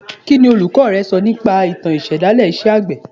Kí ni olùkọ́ rẹ sọ nípa ìtàn ìṣẹ̀dálẹ̀ iṣẹ́ àgbẹ̀